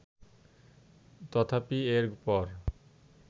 তথাপি এর পর